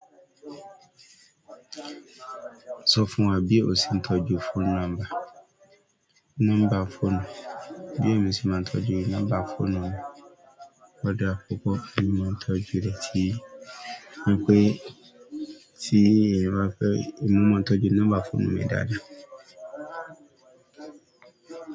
Sọ fún wa bí o ṣe ń tọ́jú phone number. Nọ́mbà fóònù. Bó lo se má ń tọ́jú nọ́mbà fóònù rẹ. Ó dára púpọ̀, èmi máa ń tọ́jú rẹ̀ ti-- wípé tí èèyàn bá fẹ́, èmi máa ń tọ́jú nọ́mbà fóònù mi dáadáa.